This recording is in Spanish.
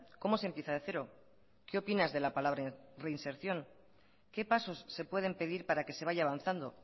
cómo se empieza de cero qué opinas de la palabra reinserción qué pasos se pueden pedir para que se vaya avanzando